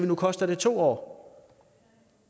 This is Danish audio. nu koster det to år